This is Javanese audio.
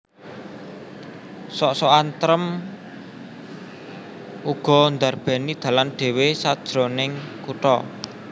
Sok sokan trèm uga ndarbèni dalan dhéwé sajroning kutha